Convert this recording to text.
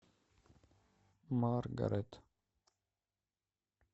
маргарет